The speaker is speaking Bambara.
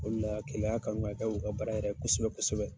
O de la KELEYA y'a kanu k'a k'u ka baara yɛrɛ ye kosɛbɛ kosɛbɛ.